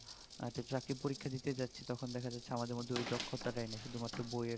একটা চাকরির পরীক্ষা দিতে যাচ্ছি তখন দেখা যাচ্ছে আমাদের মধ্যে আমাদের মধ্যে ওই দক্ষতা টাই নেই শুধু মাত্র বই এর